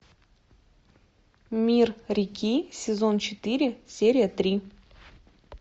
мир реки сезон четыре серия три